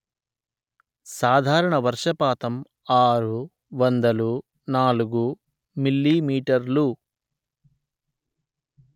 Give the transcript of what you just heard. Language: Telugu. సాధారణ వర్షపాతం ఆరు వందలు నాలుగు మీమీ